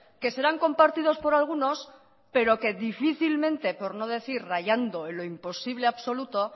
que serán compartidos por algunos pero que difícilmente por no decir rayando lo imposible absoluto